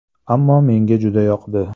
Ammo menga juda yoqdi.